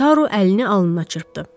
Taru əlini alnına çırpdı.